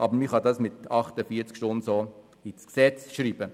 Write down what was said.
Man kann es mit 48 Stunden ins Gesetz schreiben.